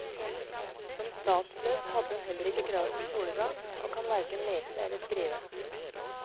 Som statsløs hadde hun heller ikke krav på skolegang, og kan hverken lese eller skrive.